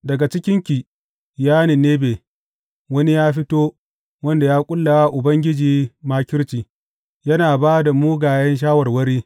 Daga cikinki, ya Ninebe wani ya fito wanda ya ƙulla wa Ubangiji makirci yana ba da mugayen shawarwari.